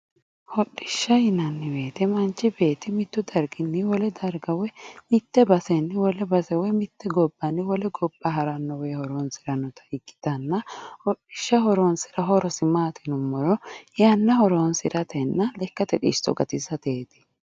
hodhishsha yinanni woyte manchu beetti mittu darginni wole darga woy mitte basenni wole base woy mitte gobbanni wole gobba harate horonsi'ranno, hodhishshaho horosi maati yinummoha ikkiro yanna horonsi'ratenna babbaxxitino xisso gatisateeti.